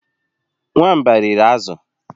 Nwamba riri azụ